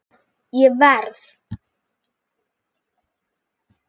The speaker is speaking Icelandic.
Ég verð!